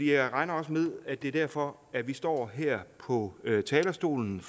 jeg regner også med at det er derfor at vi står her på talerstolen